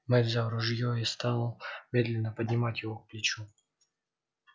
мэтт взял ружьё и стал медленно поднимать его к плечу